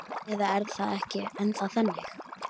Eða er það ekki ennþá þannig?